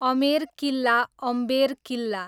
अमेर किल्ला, अम्बेर किल्ला